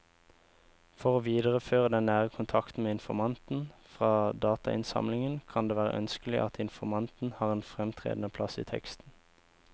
For å videreføre den nære kontakten med informanten fra datainnsamlingen kan det være ønskelig at informanten har en fremtredende plass i teksten.